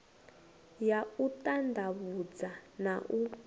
ya u ṱanḓavhudza na u